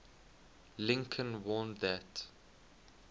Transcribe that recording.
lincoln warned that